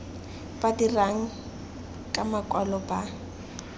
ba dirang ka makwalo ba